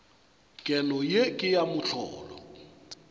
keno ye ke ya mohlolo